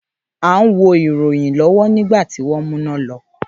À ń wo ìròyìn lọ́wọ́ nígbà tí wọn mú iná lọ